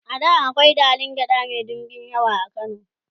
a da akwai dalan gyaɗa Mai ɗinbin yawa a kano